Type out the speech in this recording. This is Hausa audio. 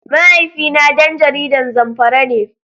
Mahaifina dan jihar Zamfara ne.